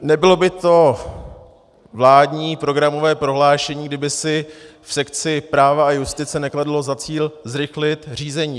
Nebylo by to vládní programové prohlášení, kdyby si v sekci práva a justice nekladlo za cíl zrychlit řízení.